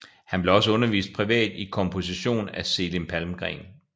Han blev også undervist privat i komposition af Selim Palmgren